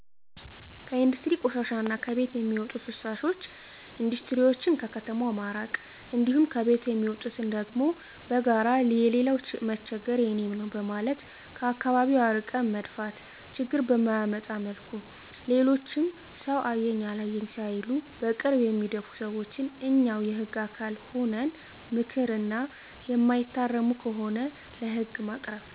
ከኢንዱስትሪ ቆሻሻ እና ከቤቶች ሚዎጡ ፍሳሾች ኢንዱስትሪዎችን ከከተማው ማራቅ እንዲሁም ከቤቶች የሚወጡትን ደግሞ በጋራ የሌላው መቸገር የኔም ነው በማለት ከአከባቢው አርቀን መድፋት ችግር በማያመጣ መልኩ ሌሎችም ሰው አየኝ አላየኝ እያሉ በቅርብ በሚደፉ ሰዎችን እኛው የህግ አካል ሁነን ምከር እና እማይታረሙ ከሆነ ለህግ ማቅረብ።